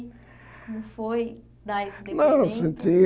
Como foi dar esse depoimento? Não eu senti